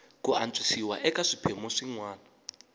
ku antswisiwa eka swiphemu swin